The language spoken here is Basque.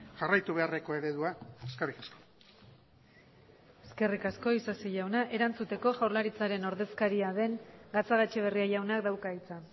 jarraitu beharreko eredua eskerrik asko eskerrik asko isasi jauna erantzuteko jaurlaritzaren ordezkaria den gatzagaetxebarria jaunak dauka hitza